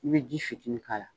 I bɛ ji fitinin k'a la